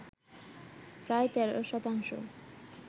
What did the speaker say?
প্রায় ১৩ শতাংশ